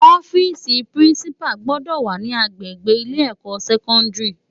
Òfisi pirinsipá gbòdò wá ni ágbégbé ilé èkò sèkòndári